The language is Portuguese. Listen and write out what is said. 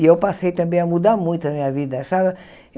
E eu passei, também, a mudar muito a minha vida. Sabe